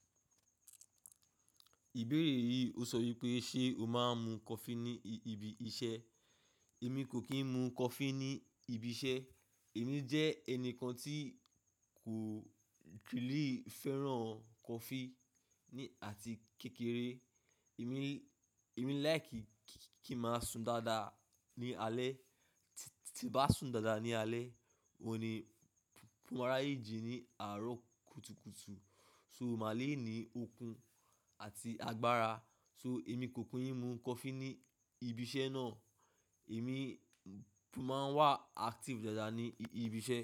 Ìbéèrè yìí ó sọ wípé ṣé o máa ń mu coffee ní ibi iṣẹ́? Èmi kò kín mú coffee ní ibi iṣẹ́. Èmi jẹ́ ẹnìkan tí kò really fẹ́ràn coffee ní àti kékeré. Èmi, èmi láì kí kí n máa sùn dáadáa ní alẹ́. Tí n bá sùn dáadáa ní alẹ́, mo ma rí ayé jí ní àárọ̀ kùtùkùtù. So mà lè ní okun àti agbára. So èmi kò kí ń mu coffee ní ibi iṣẹ́ náà. Èmi máa ń wà active dáadáa ní ibi iṣẹ́.